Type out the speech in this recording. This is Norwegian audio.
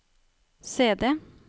CD